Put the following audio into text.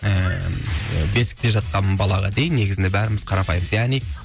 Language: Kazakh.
ііі бесікте жатқан балаға дейін негізінде бәріміз қарапайымбыз яғни